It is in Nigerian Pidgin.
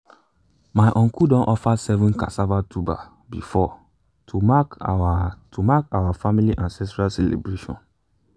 my uncle don offer seven cassava tuber before to mark our to mark our family ancestral celebration